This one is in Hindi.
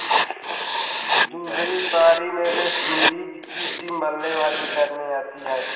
दूसरी पारी में वेस्टइंडीज की टीम बल्लेबाजी करने आती है